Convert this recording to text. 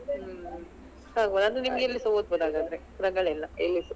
ಹ್ಮ್ ಆಗಬೋದು ನಿಮ್ಗೆ ಎಲ್ಲಿಸಾ ಓದ್ಬೋದು ಹಾಗಾದ್ರೆ ರಗಳೆ ಇಲ್ಲ ಎಲ್ಲಿಸಾ.